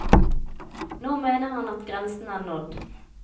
Nå mener han at grensen er nådd.